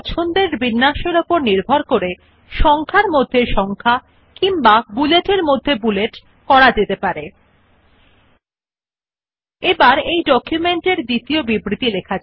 এখন Enter কি একটি বিবৃতি লিখে পরে আপনি যে একটি নতুন বুলেট পয়েন্ট অথবা একটি নতুন ক্রমবর্ধমান সংখ্যা নির্মিত হবে টিপুনNow press the Enter key after typing a statement you will see that a new bullet point or a new incremental number is created